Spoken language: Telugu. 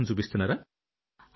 ఉత్సాహం చూపిస్తున్నారా